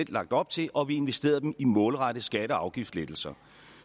lagt op til og vi investerede dem i målrettede skatte og afgiftslettelser